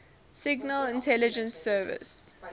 signal intelligence service